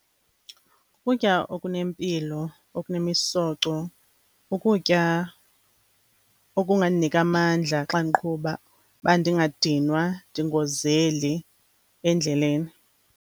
Ukutya okunempilo, okunemisoco, ukutya okungandinika amandla xa ndiqhuba uba ndingadinwa, ndingozeli endleleni.